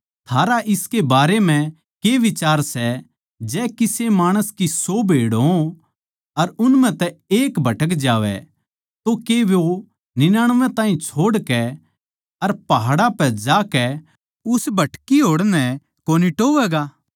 थारा इसके बारें म्ह के बिचार सै जै किसे माणस की सौ भेड़ हों अर उन म्ह तै एक भटक जावै तो के वो निन्यानबे ताहीं छोड़कै अर पहाड़ां पै जाकै उस भटकी होड़ नै कोनी टोहवैगा